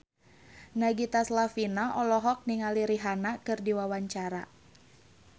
Nagita Slavina olohok ningali Rihanna keur diwawancara